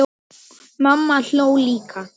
Mamma hló líka.